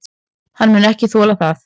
Hann mun ekki þola það.